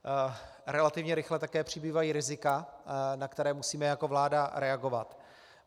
Relativně rychle také přibývají rizika, na která musíme jako vláda reagovat.